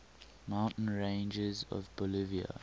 mountain ranges of bolivia